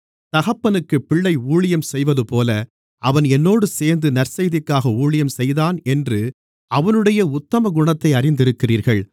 தகப்பனுக்குப் பிள்ளை ஊழியம் செய்வதுபோல அவன் என்னோடு சேர்ந்து நற்செய்திக்காக ஊழியம் செய்தான் என்று அவனுடைய உத்தமகுணத்தை அறிந்திருக்கிறீர்கள்